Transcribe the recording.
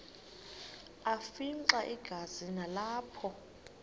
afimxa igazi nalapho